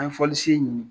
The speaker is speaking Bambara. An ye fɔli sen ɲini